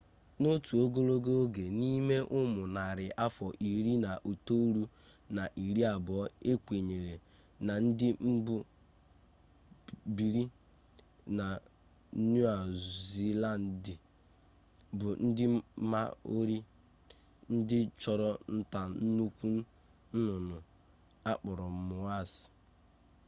n'otu ogologo oge n'ime ụmụ narị afọ iri na itoolu na iri abụọ e kwenyere na ndị mbụ biiri na niu ziilandị bụ ndị maori ndị chụrụ nta nnukwu nnụnnụ a kpọrọ moas